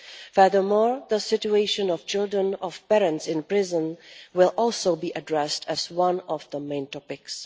Furthermore, the situation of the children of parents in prison will also be addressed as one of the main topics.